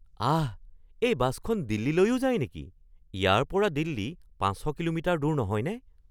আহ! এই বাছখন দিল্লীলৈও যায় নেকি? ইয়াৰ পৰা দিল্লী ৫০০ কিলোমিটাৰ দূৰ নহয়নে?